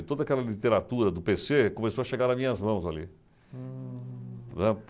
E toda aquela literatura do pê c§ Cê começou a chegar nas minhas mãos ali. Hmmm.